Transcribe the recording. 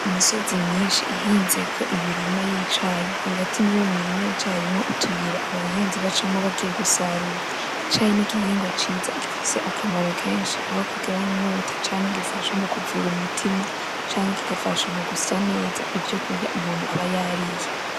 Imisozi myishi ihinzeko imirima y’icayi hagati muri uwo murima harimwo utuyira abahinzi bacamwo bagiye gusarura ,icayi ni igihingwa ciza gifise akamaro kenshi aho kigabanya inyota canke gifasha mukuvura umutima canke kigafasha mu gusya neza ivyo umuntu aba yariye.